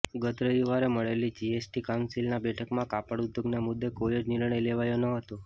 ગત રવિવારે મળેલી જીએસટી કાઉિન્સલની બેઠકમાં કાપડ ઉદ્યોગના મુદ્દે કોઇ જ નિર્ણય લેવાયો નહોતો